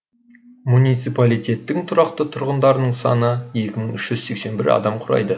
муниципалитеттің тұрақты тұрғындарының саны екі мың үш жүз сексен бір адамды құрайды